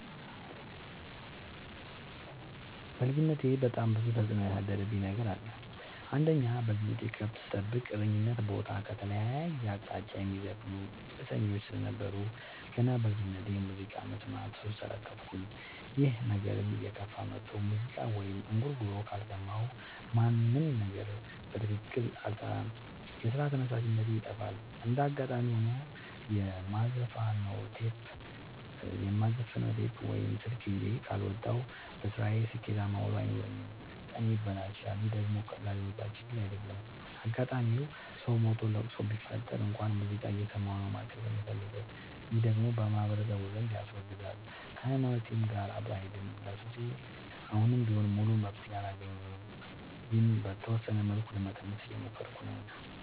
በልጅነቴ በጣም ብዙ ተጽዕኖ ያሳደረብኝ ነገር አለ። አንደኛ በልጅነቴ ከብት ስጠብቅ እረኝነት ቦታ ከተለያየ አቅጣጫ የሚዘፍኑ እሰኞች ስለነበሩ። ገና በልጅነቴ በሙዚቃ መስማት ሱስ ተለከፍኩኝ ይህ ነገርም እየከፋ መጥቶ ሙዚቃ ወይም እንጉርጉሮ ካልሰማሁ ምንም ነገር በትክክል አልሰራም የስራ ተነሳሽነቴ ይጠፋል። እንደጋጣሚ ሆኖ የማዘፍ ነው ቴፕ ወይም ስልክ ይዤ ካልወጣሁ። በስራዬ ስኬታማ ውሎ አይኖረኝም ቀኔ ይበላሻል ይህ ደግሞ ቀላል የሚባል ችግር አይደለም። አጋጣም ሰው ሞቶ ለቅሶ ቢፈጠር እንኳን ሙዚቃ እየሰማሁ ነው ማልቀስ የምፈልገው ይህ ደግሞ በማህበረሰቡ ዘንድ ያስወግዛል። ከሀይማኖቴም ጋር አብሮ አይሄድም። ለሱሴ አሁንም ቢሆን ሙሉ መፍትሔ አላገኘሁም ግን በተወሰነ መልኩ ለመቀነስ እየሞከርኩ ነው።